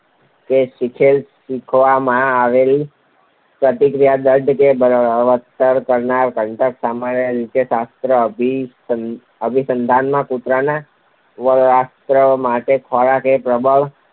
શીખેલી શીખવવામાં આવેલી પ્રતિક્રિયાને દૃઢ કે બળવત્તર કરનારું ઘટક. સામાન્ય રીતે શાસ્ત્રીય અભિસંધાનમાં કૂતરાના લાળસ્ત્રાવ માટે ખોરાક એ પ્રબલન